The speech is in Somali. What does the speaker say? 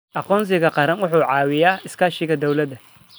Aqoonsiga qaranku wuxuu caawiyaa iskaashiga dawladda.